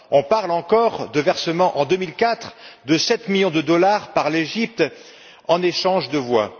On parle encore du versement, en 2004, de 7 millions de dollars par l'Égypte en échange de voix.